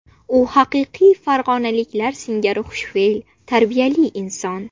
U haqiqiy farg‘onaliklar singari xushfe’l, tarbiyali inson.